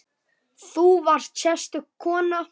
Þú varst sérstök kona.